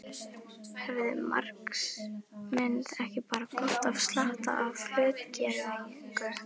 Hefði marxisminn ekki bara gott af slatta af hlutgervingu.